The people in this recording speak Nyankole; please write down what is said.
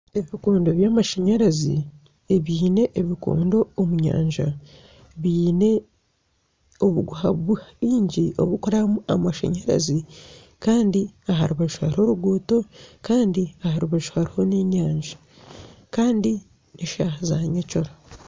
Ebikondo byamashanyarazi ebiine ebikondo omunda biine obuguha bwingi oburikurabwamu amashanyarazi Kandi aharubaju hariho oruguuto Kandi aharubaju hariho nana enyanja Kandi n'eshaaha za nyekiro.